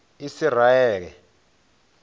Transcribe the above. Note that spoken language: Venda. isiraele